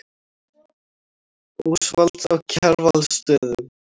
Ósvalds á Kjarvalsstöðum.